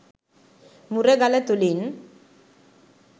මුරගල තුළින්